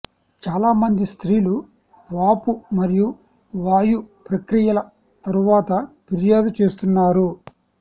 చాలామంది స్త్రీలు వాపు మరియు వాయు ప్రక్రియల తరువాత ఫిర్యాదు చేస్తున్నారు